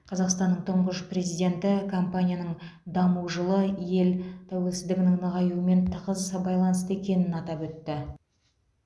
қазақстанның тұңғыш президенті компанияның даму жолы ел тәуелсіздігінің нығаюымен тығыз байланысты екенін атап өтті